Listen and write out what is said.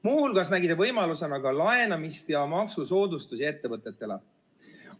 " Muu hulgas nägi ta võimalusena ka laenamist ja maksusoodustusi ettevõtetele.